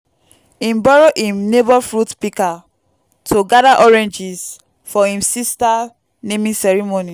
him borrow him neighbour fruit pika to gada oranges for him sista naming ceremony